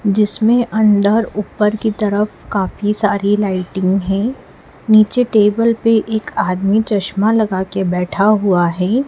जिसमें अंदर ऊपर की तरफ काफी सारी लाइटिंग है नीचे टेबल पे एक आदमी चश्मा लगा के बैठा हुआ है।